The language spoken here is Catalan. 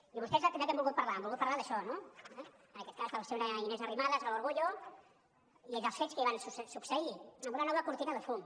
i vostès de què han volgut parlar han volgut parlar d’això no en aquest cas de la senyora inés arrimadas l’orgullo i dels fets que hi van succeir amb una nova cortina de fum